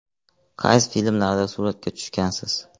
Qaysi filmlarda suratga tushgansiz?